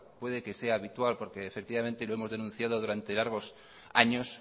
puede que sea habitual porque efectivamente lo hemos denunciado durante largos años